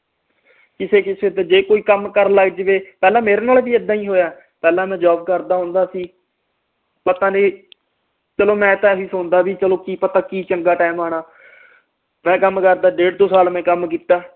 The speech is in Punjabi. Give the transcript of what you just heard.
ਕਿਸੇ ਕਿਸੇ ਤੇ ਜੇ ਕੋਈ ਕੰਮ ਕਰਨ ਲਗਜਾਵੇ ਮੇਰੇ ਨਾਲ ਵੀ ਏਦਾਂ ਹੋਇਆ ਪਹਿਲਾ ਮੈਂ job ਕਰਦਾ ਹੁੰਦਾ ਸੀ ਪਤਾ ਨਹੀਂ ਚਲੋ ਮੈਂ ਤਾ ਸੁਣਦਾ ਕੇ ਪਤਾ ਨਹੀਂ ਕੀ ਚੰਗਾ ਟਾਈਮ ਆਉਣਾ ਮੈਂ ਕਮ ਕਰਦਾ ਡੇਢ ਦੋ ਸਾਲ ਮੈਂ ਕੰਮ ਕੀਤਾ